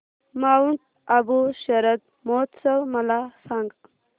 Mount Abu शरद महोत्सव मला सांग